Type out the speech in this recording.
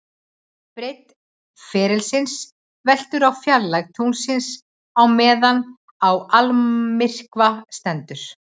Breidd ferilsins veltur á fjarlægð tunglsins á meðan á almyrkva stendur.